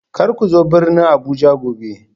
Kar ku zo birnin Abuja gobe